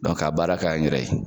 ka baara k'an yɛrɛ ye.